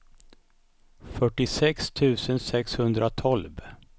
fyrtiosex tusen sexhundratolv